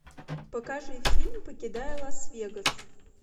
покажи фильм покидая лас вегас